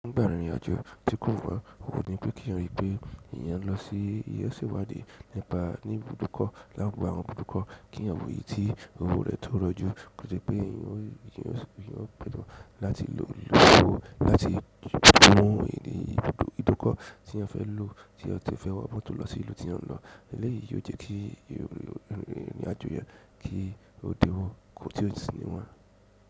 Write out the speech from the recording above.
Nígbà ìrìn àjò tí kò mọ́, owo ni pé kí èèyàn ríi pé èèyàn lọ sí èèyàn se iwádìí nípa ní ibùdókọ̀ láti àwọn ibùdókọ̀ kí èèyàn wò ìyí tí owó rẹ̀ tó rọjú. Ó jẹ́ pé èèyàn ó gbọ́dọ̀ láti lo owó láti gbówó òní ìbùdókọ̀ tí ẹ fẹ́ lò tí ẹ fẹ́ wọ mọ́tò lọ sí ìlú tí ẹ ń lọ. Eléyìí yóò jẹ́ kí ìrìn àjò yẹn kí ó dinwó tí ó sì níwọ̀n.